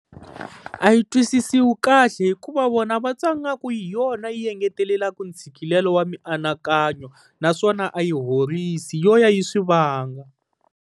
A yi twisisiwi kahle, hikuva vona va twa ingaku hi yona yi engetelelaka ntshikelelo wa mianakanyo naswona a yi horisa yo ya yi swi vanga.